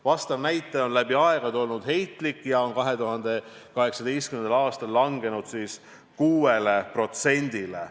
Vastav näitaja on läbi aegade olnud heitlik ja on 2018. aastal langenud 6%-le.